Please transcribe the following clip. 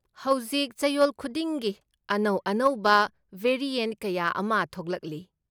ꯍꯧꯖꯤꯛ ꯆꯌꯣꯜ ꯈꯨꯗꯤꯡꯒꯤ ꯑꯅꯧ ꯑꯅꯧꯕ ꯚꯦꯔꯤꯑꯦꯟꯠ ꯀꯌꯥ ꯑꯃ ꯊꯣꯛꯂꯛꯂꯤ꯫